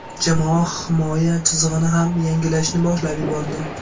Jamoa himoya chizig‘ini ham yangilashni boshlab yubordi.